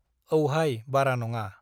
औहाय बारा नङा।